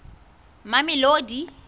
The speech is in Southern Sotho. mamelodi